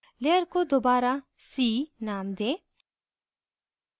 layer को दोबारा sea नाम दें